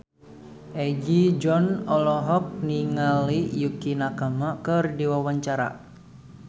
Egi John olohok ningali Yukie Nakama keur diwawancara